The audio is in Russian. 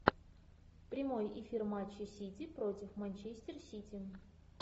прямой эфир матча сити против манчестер сити